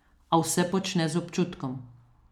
A vse počne z občutkom.